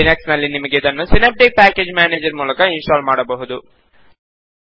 Linux ನಲ್ಲಿ ನಿಮಗೆ ಅದನ್ನು ಸಿನೇಪ್ಟಿಕ್ ಪ್ಯಾಕೇಜ್ ಮೇನೇಜರ್ ಮೂಲಕ ಇನ್ ಸ್ಟಾಲ್ ಮಾಡಬಹುದು